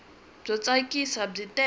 byo tsakisa byi tele